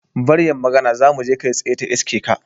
Bar yin magana, zamu je kai tsaye ta iska.